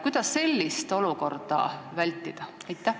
Kuidas sellist olukorda vältida?